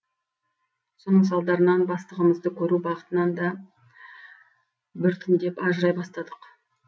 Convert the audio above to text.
соның салдарынан бастығымызды көру бақытынан да біртіндеп ажырай бастадық